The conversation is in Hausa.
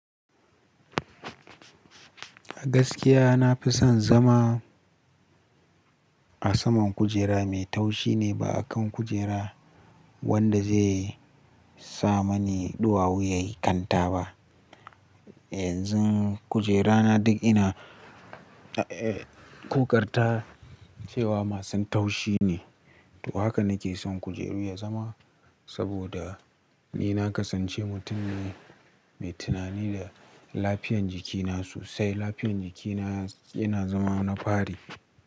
A gaskiya na fi son zama a saman kujera mai taushi ne ba a kan kujera wanda zai sa mani ɗuwawu yayi kanta ba. Yanzu kujerana duk ina,, ƙoƙarta cewa masu taushi ne. To haka nake son kujeru ya zama saboda ni na kasance mutum ne mai tunani da lafiyan jikina sosai. Lafiyan jikina yana zama na fari.